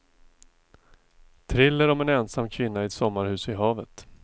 Thriller om en ensam kvinna i ett sommarhus vid havet.